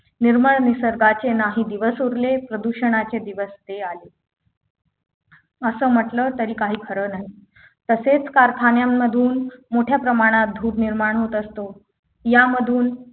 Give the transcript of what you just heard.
निर्मळ निसर्गाचे नाही दिवस उरलेत प्रदूषणाचे दिवस ते आले असे म्हटल तरी काही खरं नाही तसेच कारखान्यांमधून मोठ्या प्रमाणात धूर निर्माण होत असतो यामधून